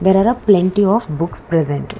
there are plenty of books present.